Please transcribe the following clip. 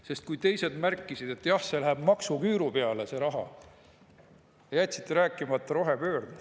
Sest kui teised märkisid, et jah, see raha läheb maksuküüru peale, siis jätsite rääkimata rohepöördest.